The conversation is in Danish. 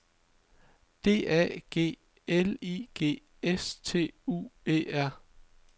D A G L I G S T U E R